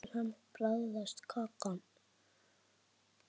Hjörtur: Hvernig bragðast kakan?